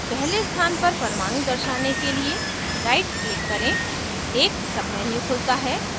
पहले स्थान पर परमाणु दर्शाने के लिए right click करें एक menu खुलता है